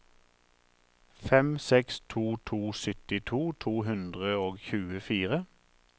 fem seks to to syttito to hundre og tjuefire